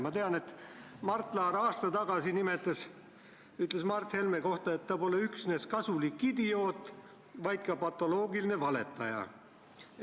Ma tean, et Mart Laar aasta tagasi ütles Mart Helme kohta, et ta pole üksnes kasulik idioot, vaid ka patoloogiline valetaja.